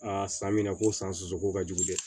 A san mina ko san sɔsɔ ko ka jugu dɛ